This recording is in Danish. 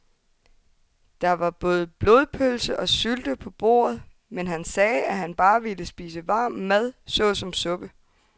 Der var både blodpølse og sylte på bordet, men han sagde, at han bare ville spise varm mad såsom suppe.